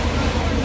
Yaxşı yaxşı.